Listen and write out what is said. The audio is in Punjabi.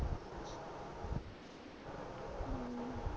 ਅਮ